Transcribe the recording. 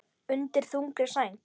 Undir þungri sæng